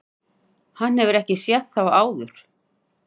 Hann hefur ekki séð þá áður.